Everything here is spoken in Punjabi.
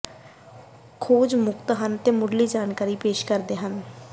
ਖੋਜ ਮੁਫ਼ਤ ਹਨ ਅਤੇ ਮੁਢਲੀ ਜਾਣਕਾਰੀ ਪੇਸ਼ ਕਰਦੇ ਹਨ